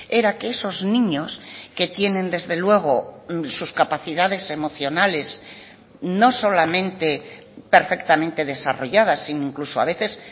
era que esos niños que tienen desde luego sus capacidades emocionales no solamente perfectamente desarrolladas sino incluso a veces